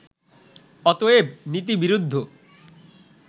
অতএব নীতিবিরুদ্ধ